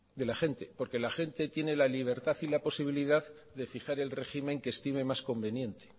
de la gente porque la gente tiene la libertad y la posibilidad de fijar el régimen que estime más conveniente